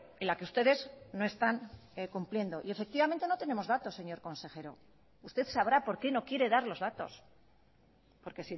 en la que ustedes no están cumpliendo y efectivamente no tenemos datos señor consejero usted sabrá por qué no quiere dar los datos porque